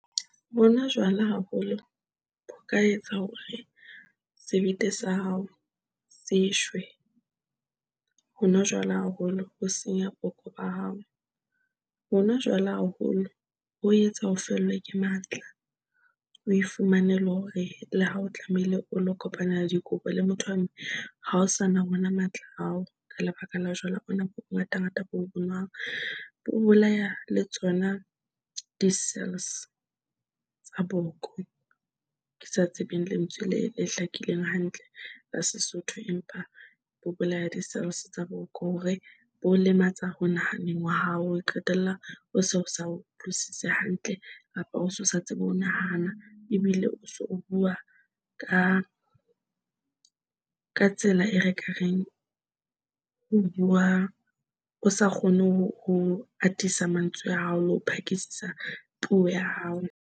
Ho nwa jwala, haholo ho ka etsa hore sebete sa hao se shwe. Ho nwa jwala haholo ho senya boko ba hao. Ho nwa jwala haholo ho etsa o fellwe ke matla, o e fumane le hore le ha o tlamehile o lo kopanela dikobo le motho wa mme, ha o sa na wona matla ao. Ka lebaka la jwala bona bo bongatangata bo, bo nwang o bolaya le tsona di-cells tsa boko. Ke sa tsebeng lentswe le le hlakileng hantle la Sesotho, empa ho bolaya di - cells tsa boko hore bo lematsa ho nahaneng wa hao. O qetella o so sa utlwisise hantle kapa o so sa tsebe ho nahana ebile o so o bua ka ka tsela e re ka reng ho bua, o sa kgone ho atisa mantswe a hao le ho phakisisa puo ya hao.